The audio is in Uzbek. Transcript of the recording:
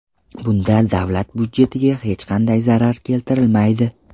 Bunda davlat budjetiga hech qanday zarar keltirilmaydi.